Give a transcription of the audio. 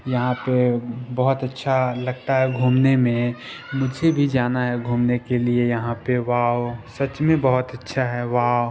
यहां पे बहुत अच्छा लगता है मुझे घूमने में मुझे भी जाना है घूमने के लिए यहां पे वाउ सच में बहुत अच्छा है वाउ ।